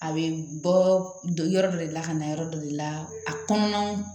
A bɛ bɔɔ yɔrɔ dɔ de la ka na yɔrɔ dɔ de la a kɔnɔna